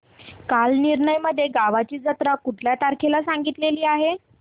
कालनिर्णय मध्ये गावाची जत्रा कुठल्या तारखेला सांगितली आहे